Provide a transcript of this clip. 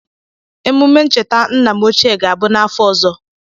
Emume ncheta nna m ochie ga-abụ n'afọ ọzọ.